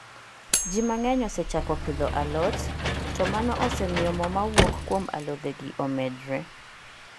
Ji mang'eny osechako pidho a lot, to mano osemiyo mo mawauok kuom alothegi omedre